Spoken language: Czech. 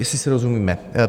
Jestli si rozumíme.